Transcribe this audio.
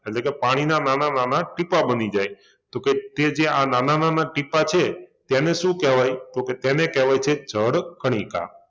એટલે કે પાણીના નાના નાના ટીપાં બની જાય તો કે તે જે આ નાના નાના ટીપાં છે તેને શું કહેવાય? તો કે તેને કહેવાય છે જળ કણિકા